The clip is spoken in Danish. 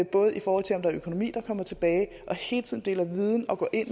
både i forhold til om der er økonomi der kommer tilbage og hele tiden at dele viden og gå ind